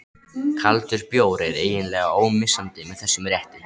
Kaldur bjór er eiginlega ómissandi með þessum rétti.